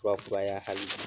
Kura kuraya halibi.